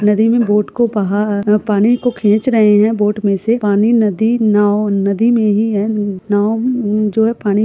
नदी में बोट को पहार पानी को खेच रहे है। बोट में से पानी नदी नाव नदी में ही है। नाव जो है पानी --